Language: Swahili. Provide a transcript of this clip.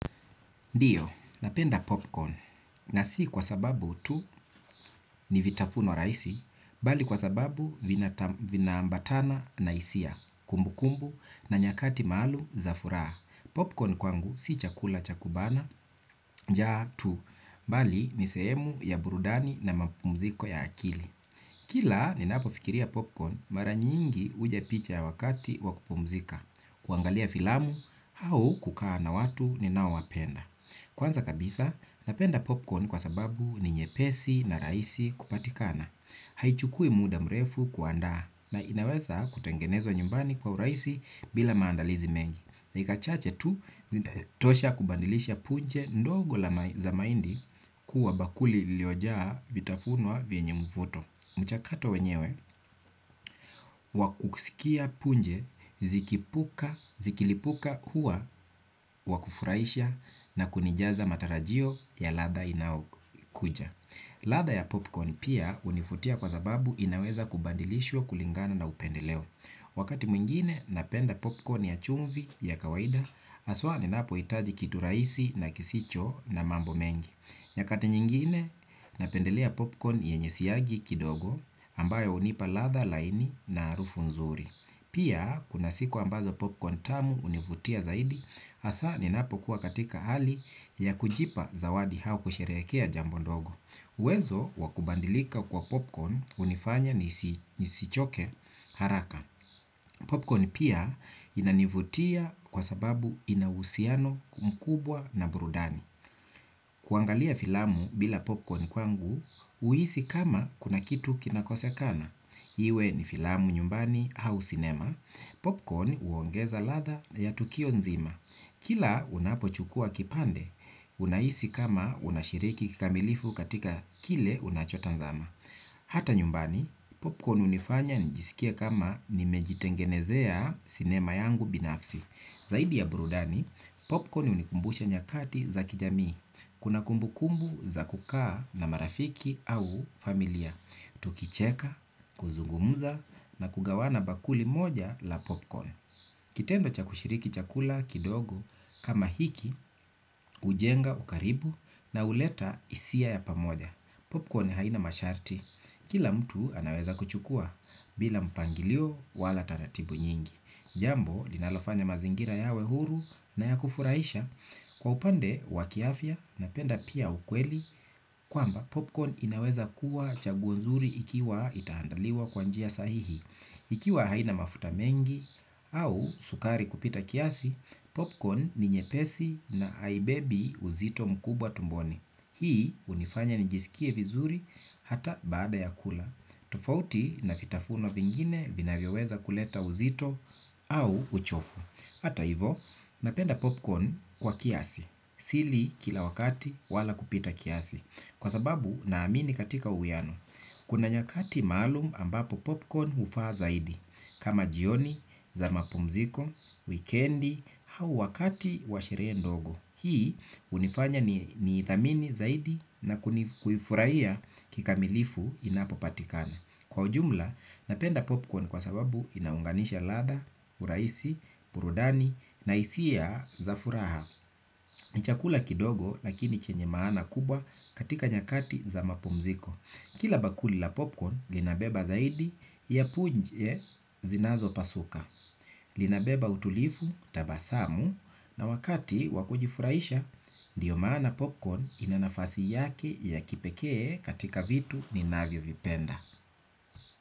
Ndiyo, napenda popcorn na si kwa sababu tu ni vitafuno rahisi, bali kwa sababu vina ambatana na hisia, kumbukumbu na nyakati maalum za furaha. Popcorn kwangu si chakula chakubana, njaa tu, bali ni sehemu ya burudani na mapumziko ya akili. Kila ninapofikiria popcorn mara nyingi uja picha ya wakati wakupumzika, kuangalia filamu au kukaa na watu ni nao wapenda. Kwanza kabisa, napenda popcorn kwa sababu ni nyepesi na rahisi kupatikana. Haichukui muda mrefu kuandaa na inaweza kutengenezwa nyumbani kwa rahisi bila maandalizi mengi. Dakika chache tu, zinatosha kubadilisha punje ndogo la mahindi kuwa bakuli liliojaa vitafunwa vyenye mvuto. Mchakato wenyewe, wakusikia punje zikilipuka huwa wakufurahisha na kunijaza matarajio ya latha inaokuja. Ladha ya popcorn pia univutia kwa zababu inaweza kubadilishwa kulingana na upendeleo. Wakati mwingine napenda popcorn ya chumvi ya kawaida, haswa ninapohitaji kitu rahisi na kisicho na mambo mengi. Nyakati nyingine napendelea popcorn yenye siagi kidogo ambayo hunipa ladha laini na harufu nzuri. Pia kuna siku ambazo popcorn tamu hunivutia zaidi hasa ninapokuwa katika hali ya kujipa zawadi au kusherehekea jambo ndogo. Uwezo wakubadilika kwa popcorn hunifanya nisichoke haraka. Popcorn pia inanivutia kwa sababu inauhusiano mkubwa na burudani. Kuangalia filamu bila popcorn kwangu, uhisi kama kuna kitu kinakosekana. Iwe ni filamu nyumbani au sinema. Popcorn huongeza ladha yatukio nzima. Kila unapochukua kipande, unahisi kama unashiriki kikamilifu katika kile unachotazama. Hata nyumbani, popcorn hunifanya nijisikie kama nimejitengenezea sinema yangu binafsi. Zaidi ya burudani, popcorn hunikumbusha nyakati za kijamii. Kuna kumbukumbu za kukaa na marafiki au familia. Tukicheka, kuzungumuza na kugawana bakuli moja la popcorn. Kitendo cha kushiriki chakula kidogo kama hiki, hujenga, ukaribu na huleta hisia ya pamoja. Popcorn haina masharti. Kila mtu anaweza kuchukua bila mpangilio wala taratibu nyingi. Jambo, linalofanya mazingira yawe huru na ya kufurahisha kwa upande wa kiafya na penda pia ukweli. Kwamba popcorn inaweza kuwa chaguo nzuri ikiwa itaandaliwa kwa njia sahihi. Ikiwa haina mafuta mengi au sukari kupita kiasi. Popcorn ni nyepesi na haibebi uzito mkubwa tumboni. Hii unifanya nijisikie vizuri hata baada ya kula. Tofauti na vitafuno vingine vinavyoweza kuleta uzito au uchofu hata hivo napenda popcorn kwa kiasi. Sili kila wakati wala kupita kiasi. Kwa sababu naamini katika uwiano. Kuna nyakati maalum ambapo popcorn hufa zaidi. Kama jioni, za mapumziko, wikendi, au wakati washerehe ndogo. Hii hunifanya ni idhamini zaidi na kuifurahia kikamilifu inapo patikana. Kwa ujumla napenda popcorn kwa sababu inaunganisha ladha, urahisi, burudani na hisia za furaha. Ni chakula kidogo lakini chenye maana kubwa katika nyakati za mapumziko. Kila bakuli la popcorn linabeba zaidi ya punje zinazopasuka. Lina beba utulivu tabasamu na wakati wakujifurahisha ndiyo maana popcorn inanafasi yake ya kipekee katika vitu ninavyovipenda.